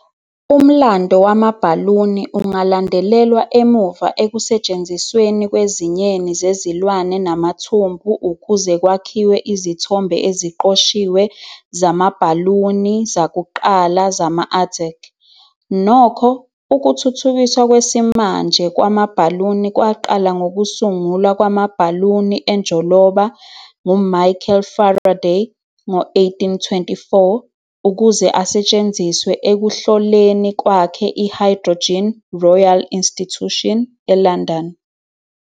Umlando wamabhaluni ungalandelelwa emuva ekusetshenzisweni kwezinyeni zezilwane namathumbu ukuze kwakhiwe izithombe eziqoshiwe zamabhaluni zakuqala zama-Aztec. Nokho, ukuthuthukiswa kwesimanje kwamabhaluni kwaqala ngokusungulwa kwamabhaluni enjoloba nguMichael Faraday ngo-1824 ukuze asetshenziswe ekuhloleni kwakhe i-hydrogen eRoyal Institution eLondon.